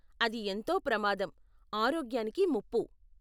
అది ఎంతో ప్రమాదం, ఆరోగ్యానికి ముప్పు.